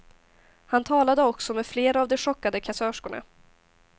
Han talade också med flera av de chockade kassörskorna.